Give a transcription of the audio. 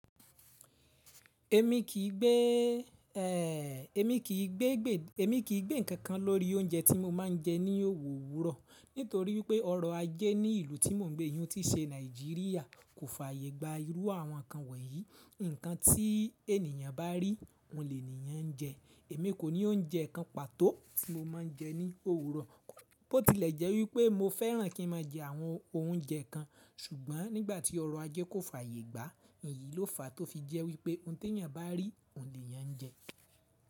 Èmi kì í gbé, ẹ, èmi kì í gbé, èmi kì í gbé nǹkan nnkan kan lórí oúnjẹ tí mo máa ń jẹ ní òwúrọ̀. Nítorí pé ọrọ̀ ajẹ ní ìlú tí mò ń gbé yìí, ilu ti o ṣe Nàìjíríà kò fààyè gba irú àwọn nǹkan wọ̀nyí. Ǹnkan tí ènìyàn bá rí, òun lè eniyàn jẹ. Èmi kò ní oúnjẹ kan pàtó tí mo máa ń jẹ ní òwúrọ̀. Ó ti lẹ̀ jẹ́ wípé mo fẹ́ràn kí ń máa jẹ àwọn oúnjẹ kan, ṣùgbọ́n nígbà tí ọrọ̀ ajẹ kò fààyè gbà, èyí ló fàá tó fi jẹ́ wípé ohun tí èeyàn bá rí, òun lè eeyàn jẹ.